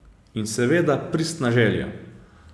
In seveda pristna želja.